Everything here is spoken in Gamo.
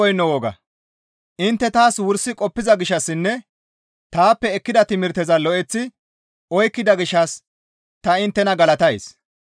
Intte taas wursi qoppiza gishshassinne taappe ekkida timirteza lo7eththi oykkida gishshas ta inttena galatays.